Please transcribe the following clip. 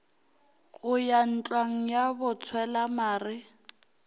go ya ntlwang ya botshwelamare